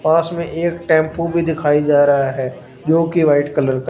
पास में एक टेंपो भी दिखाई जा रहा है जो कि वाइट कलर का--